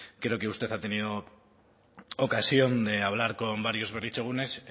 creo que usted ha tenido ocasión de hablar con varios berritzegunes